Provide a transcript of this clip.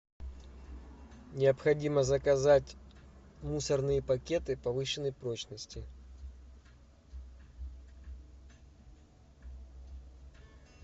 необходимо заказать мусорные пакеты повышенной прочности